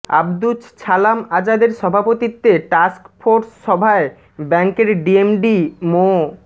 আব্দুছ ছালাম আজাদের সভাপতিত্বে টাস্কফোর্স সভায় ব্যাংকের ডিএমডি মো